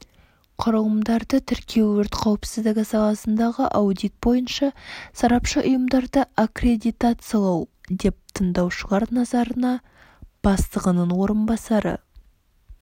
құрылымдарды тіркеу өрт қауіпсіздігі саласындағы аудит бойынша сарапшы ұйымдарды аккредитациялау деп тыңдаушылар назарына бастығының орынбасары